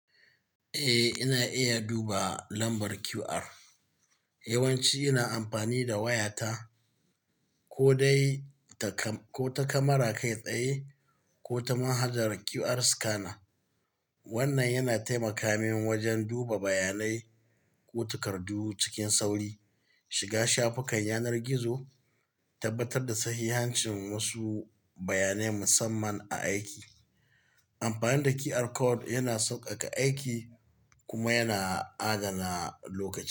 Eh, ina iya duba lambar QR. Yawanci ina amfani da wayata ko dai ta kamara kai tsaye ko ta manhajar QR scanner. Wannan yana taimaka min wajen duba bayanai ko takardu cikin sauri, shiga shafukan yanar gizo, tabbatar da sahihancin wasu bayanai musamman a aiki. Amfani da QR code yana sauƙaƙa aiki kuma yana adana lokaci.